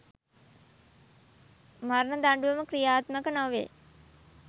මරණ දඬුවම ක්‍රියාත්මක නොවේ